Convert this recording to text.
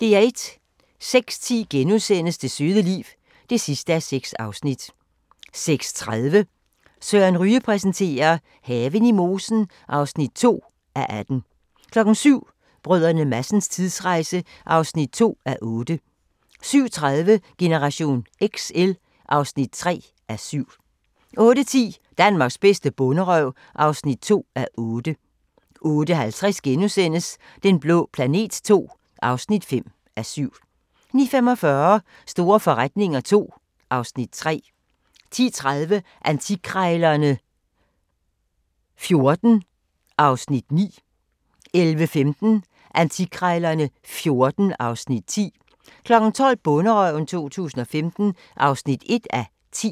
06:10: Det søde liv (6:6)* 06:30: Søren Ryge præsenterer: Haven i mosen (2:18) 07:00: Brdr. Madsens tidsrejse (2:8) 07:30: Generation XL (3:7) 08:10: Danmarks bedste bonderøv (2:8) 08:50: Den blå planet II (5:7)* 09:45: Store forretninger II (Afs. 3) 10:30: Antikkrejlerne XIV (Afs. 9) 11:15: Antikkrejlerne XIV (Afs. 10) 12:00: Bonderøven 2015 (1:10)